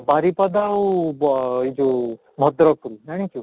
ବାରିପଦା ଆଉ ବ ଏଇ ଯଉ ଭଦ୍ରକରୁ ଜାଣିଛୁ?